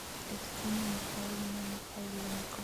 кристина михайловна михайленко